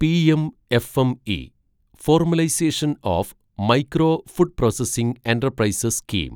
PM FME formalisation of micro food processing enterprises scheme